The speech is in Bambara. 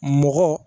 Mɔgɔ